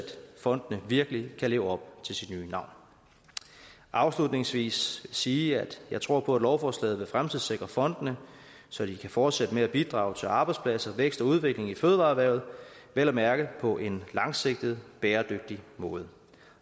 fonden virkelig kan leve op til sit nye navn afslutningsvis vil sige at jeg tror på at lovforslaget vil fremtidssikre fondene så de kan fortsætte med at bidrage til arbejdspladser vækst og udvikling i fødevareerhvervet vel at mærke på en langsigtet bæredygtig måde